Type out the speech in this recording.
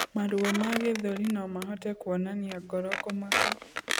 Maruo ma gĩthũri nomahote kũonania ngoro kumaka